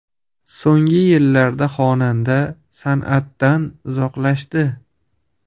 So‘nggi yillarda xonanda san’atdan uzoqlashdi.